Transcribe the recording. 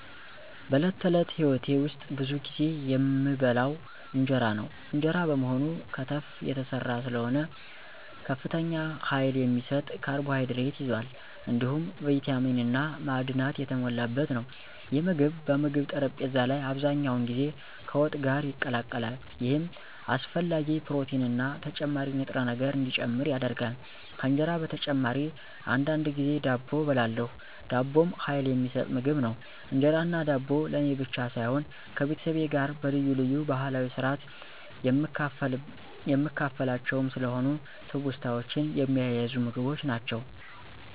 በዕለት ተዕለት ሕይወቴ ውስጥ ብዙ ጊዜ የምበላው እንጀራ ነው። እንጀራ በመሆኑ ከተፍ የተሰራ ስለሆነ ከፍተኛ ኃይል የሚሰጥ ካርቦሃይድሬት ይዟል፣ እንዲሁም ቪታሚን እና ማዕድናት የተሞላበት ነው። ይህ ምግብ በምግብ ጠረጴዛ ላይ አብዛኛውን ጊዜ ከወጥ ጋር ይቀላቀላል፣ ይህም አስፈላጊ ፕሮቲንና ተጨማሪ ንጥረ ነገር እንዲጨምር ያደርጋል። ከእንጀራ በተጨማሪ አንዳንድ ጊዜ ዳቦ እበላለሁ። ዳቦም ኃይል የሚሰጥ ምግብ ነው። እንጀራና ዳቦ ለእኔ ብቻ ሳይሆን ከቤተሰቤ ጋር በልዩ ልዩ ባህላዊ ስርአት የምካፈላቸውም ስለሆኑ ትውስታዎችን የሚያያዙ ምግቦች ናቸው።